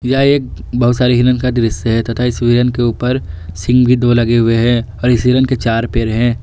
यह एक बहुत सारे हिरण का दृश्य है तथा इस हिरण के ऊपर सिंह भी दो लगे हुए हैं और इस हिरण के चार पैर हैं।